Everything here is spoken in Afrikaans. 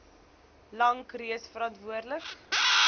lank reeds verantwoordelik